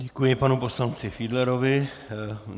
Děkuji panu poslanci Fiedlerovi.